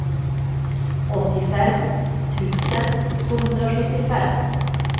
åttiofem tusen tvåhundrasjuttiofem